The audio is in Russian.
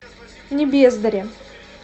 небездари